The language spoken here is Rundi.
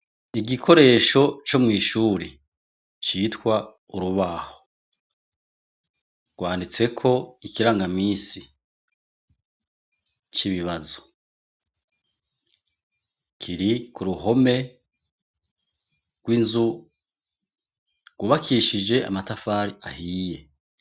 Igikoresho Co mwishure citwa urubaho , rwanditseko ikirangaminsi cibibazo kiri kuruhome rwinzu yubakishije amatafari ahiye.